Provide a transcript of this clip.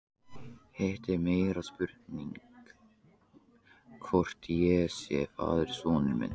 Hitt er meiri spurning hvort ég sé faðir sonar míns.